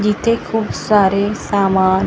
जिथे खूप सारे सामान नळं--